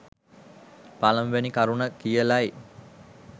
පළමුවෙනි කරුණ කියලයි.